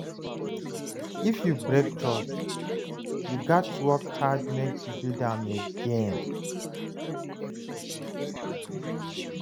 If you break trust, you gats work hard make you build am back.